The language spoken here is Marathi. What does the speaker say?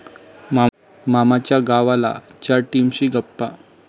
मामाच्या गावाला..'च्या टीमशी गप्पा